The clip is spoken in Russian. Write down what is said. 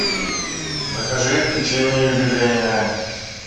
закажи печенье юбилейное